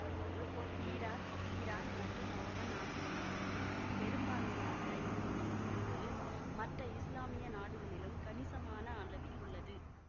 Iraq Iran மற்றும் Oman ஆகிய நாடுகளில் பெரும்பான்மையாக இருக்கும் இந்த பிரிவு மற்ற இசுலாமிய நாடுகளிலும் கணிசமான அளவில் உள்ளது